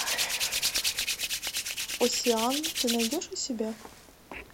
оссиан ты найдешь у себя